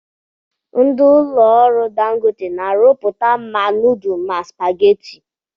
Ndi ụlọ ọrụ Dangote na-arụpụta ma nudul ma supageti.